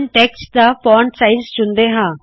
text ਦਾ font size ਚੁਣਦੇ ਹਾ